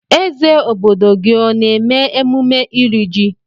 Eze obodo gị ọ na-eme emume ịri jị?